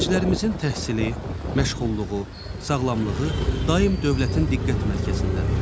Gənclərimizin təhsili, məşğulluğu, sağlamlığı daim dövlətin diqqət mərkəzindədir.